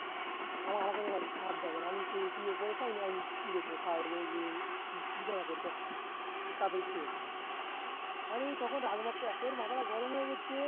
আ আমাকে নিয়ে ভাবতে হবে না এমন কি বিছানা করতে অরে তখন আমি মাত্র এত মাথাটা গরম হয়ে গেছে